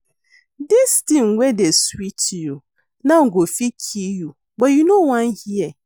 Dis thing wey dey sweet you now go fit kill you but you no wan hear